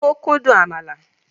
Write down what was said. Ó kún dùn àmàlà